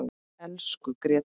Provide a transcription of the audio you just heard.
Elsku Gréta.